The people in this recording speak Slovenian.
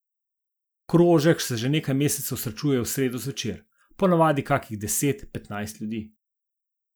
Krožek se že nekaj mesecev srečuje v sredo zvečer, ponavadi kakih deset petnajst ljudi.